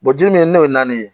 ji min n'o ye naani ye